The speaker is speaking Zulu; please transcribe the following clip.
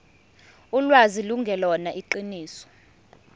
ulwazi lungelona iqiniso